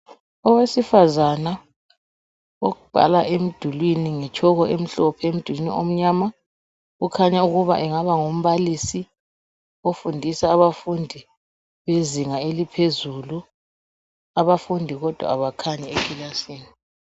Owesifazana obhala emdulwini ngetshoko emhlophe emdulwini omnyama ukhanya ukuba engaba ngumbalisi ofundisa abafundi bezinga eliphezulu. Abafundi kodwa abakhanyi ekilasini.